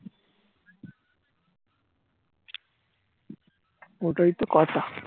ওটাই তো কথা